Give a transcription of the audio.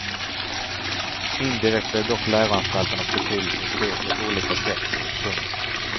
Indirekt blev dock läroanstalternas betydelse stor på olika sätt. punkt